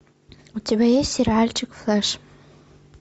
у тебя есть сериальчик флеш